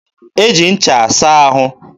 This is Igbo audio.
e ji ncha asa ahụ.